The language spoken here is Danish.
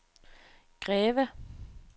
Greve